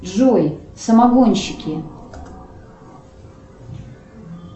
джой самогонщики